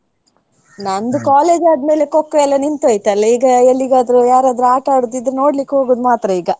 ನಂದು college ಆದ್ಮೇಲೆ Kho kho ಎಲ್ಲ ನಿಂತೊಯ್ತ್ ಅಲಾ ಈಗ ಎಲ್ಲಿಗಾದ್ರೂ, ಯಾರಾದ್ರೂ ಆಟ ಆಡುದ್ದಿದ್ರೆ ನೋಡ್ಲಿಕ್ ಹೋಗೋದ್ ಮಾತ್ರ ಈಗ.